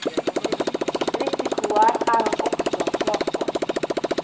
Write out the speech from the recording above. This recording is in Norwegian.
Risikoer er han også svak for.